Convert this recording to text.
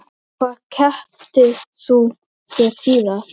Hvað keyptir þú þér síðast?